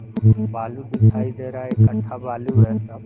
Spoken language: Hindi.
बालू दिखाई दे रहा है इकट्ठा बालू है सब--